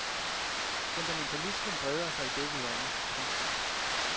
Fundamentalismen breder sig i begge lande. punktum